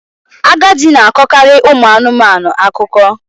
Agadi na-akọkarị ụmụ anụmanụ akụkọ